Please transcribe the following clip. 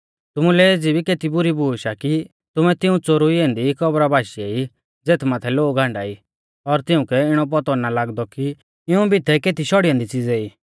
तुमुलै एज़ी भी केती बुरी बूश आ कि तुमै तिऊं च़ोरुई ऐन्दी कब्रा बाशीऐ ई ज़ेथ माथै लोग हांडा ई और तिउंकै इणौ पौतौ ना लागदौ कि इऊं भितै केती शौड़ी ऐन्दी च़िज़े ई